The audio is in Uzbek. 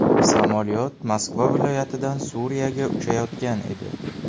Samolyot Moskva viloyatidan Suriyaga uchayotgan edi.